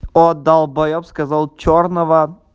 о долбаёб сказал чёрного